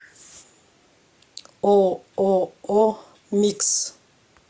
ооо микс